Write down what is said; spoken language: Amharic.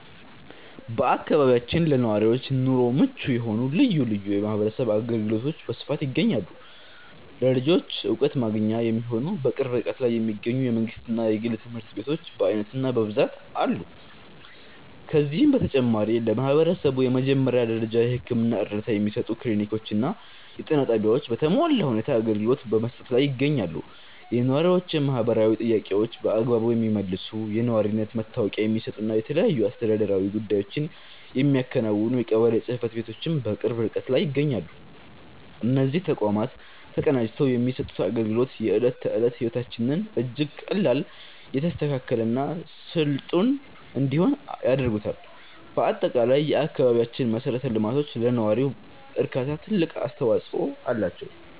በአካባቢያችን ለነዋሪዎች ኑሮ ምቹ የሆኑ ልዩ ልዩ የማህበረሰብ አገልግሎቶች በስፋት ይገኛሉ። ለልጆች ዕውቀት ማግኛ የሚሆኑ፣ በቅርብ ርቀት ላይ የሚገኙ የመንግሥትና የግል ትምህርት ቤቶች በዓይነትና በብዛት አሉ። ከዚህም በተጨማሪ፣ ለማህበረሰቡ የመጀመሪያ ደረጃ የሕክምና እርዳታ የሚሰጡ ክሊኒኮችና የጤና ጣቢያዎች በተሟላ ሁኔታ አገልግሎት በመስጠት ላይ ይገኛሉ። የነዋሪዎችን ማህበራዊ ጥያቄዎች በአግባቡ የሚመልሱ፣ የነዋሪነት መታወቂያ የሚሰጡና የተለያዩ አስተዳደራዊ ጉዳዮችን የሚያከናውኑ የቀበሌ ጽሕፈት ቤቶችም በቅርብ ርቀት ይገኛሉ። እነዚህ ተቋማት ተቀናጅተው የሚሰጡት አገልግሎት፣ የዕለት ተዕለት ሕይወታችንን እጅግ ቀላል፣ የተስተካከለና ስልጡን እንዲሆን ያደርጉታል። በአጠቃላይ፣ የአካባቢያችን መሠረተ ልማቶች ለነዋሪው እርካታ ትልቅ አስተዋጽኦ አላቸው።